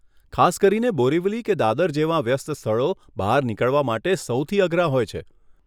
ખાસ કરીને બોરીવલી કે દાદર જેવાં વ્યસ્ત સ્થળો બહાર નીકળવા માટે સૌથી અઘરા હોય છે.